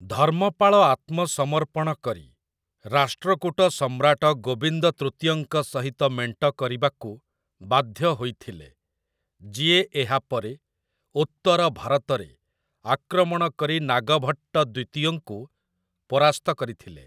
ଧର୍ମପାଳ ଆତ୍ମସମର୍ପଣ କରି ରାଷ୍ଟ୍ରକୂଟ ସମ୍ରାଟ ଗୋବିନ୍ଦ ତୃତୀୟଙ୍କ ସହିତ ମେଣ୍ଟ କରିବାକୁ ବାଧ୍ୟ ହୋଇଥିଲେ, ଯିଏ ଏହାପରେ ଉତ୍ତର ଭାରତରେ ଆକ୍ରମଣ କରି ନାଗଭଟ୍ଟ ଦ୍ୱିତୀୟଙ୍କୁ ପରାସ୍ତ କରିଥିଲେ ।